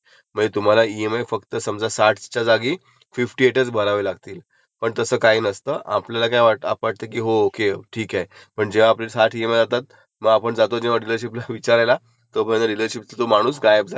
मग तेव्हा घेताना कधीही एरीयल जी स्कीम असते इन्टरेस्टची ती तिचं घ्यायची. नंतर आता सगळ्यात बेस्ट बॅंक आहे ती एसबीआय किंवा कुठलिही नॅशन्लाइजड बॅंक मग ती एखादी नॅशनलाइज्ड बॅक चुज करायची. जेव्हा आपण लोन घेतो तेव्हा.का